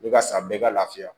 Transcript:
I bɛ ka san bɛɛ ka lafiya